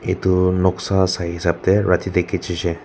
etu noksa sai hisab teh raati teh khichi se.